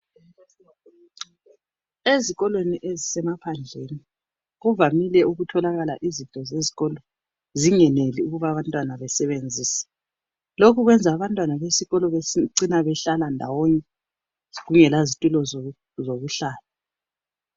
Ezikolweni ezisemaphandleni kuvamile ukutholakala izinto zezikolo zingeneli ukuba abantwana besebenzise. Lokhu kwenza abantwana besikolo becina behlala ndawonye kungela zitulo zokuhlala.